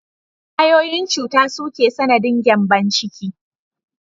Ƙwayoyin cuta su ke sanadin gyambon ciki